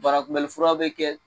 Banakunbɛnli furaw bɛ kɛ